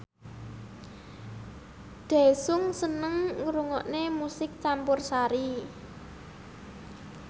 Daesung seneng ngrungokne musik campursari